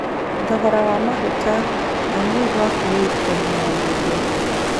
Thogora wa maguta. Amir wa Kuwait kunina mbunge